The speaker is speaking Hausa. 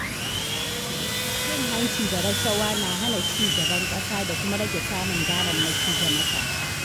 Cin hanci da rashawa na hana ci gaban ƙasa da kuma rage samun damammaki ga matasa.